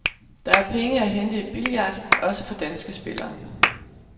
Der er penge at hente i billard, også for danske spillere.